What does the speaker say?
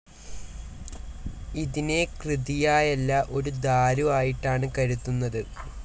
ഇതിനെ കൃതിയായല്ല ഒരു ദാരു ആയിട്ടാണ് കരുതുന്നത്.